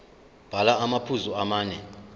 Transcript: bhala amaphuzu amane